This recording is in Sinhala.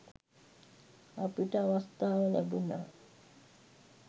අපිට අවස්ථාව ලැබුණා